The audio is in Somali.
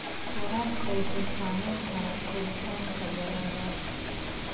Waraabka xun wuxuu saameyn karaa koritaanka dalagga.